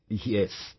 Yes...